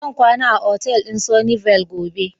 Zan kwana a otal din Sunny Vale gobe.